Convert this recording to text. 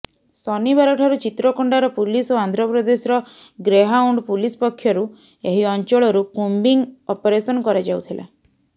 ଶନିବାର ଠାରୁ ଚିତ୍ରକୋଣ୍ଡାର ପୁଲିସ ଓ ଆନ୍ଧ୍ରପ୍ରଦେଶର ଗ୍ରେହାଉଣ୍ଡ ପୁଲିସ ପକ୍ଷରୁ ଏହି ଅଞ୍ଚଳରୁ କୁମ୍ୱିଂ ଅପରେସନ କରାଯାଉଥିଲା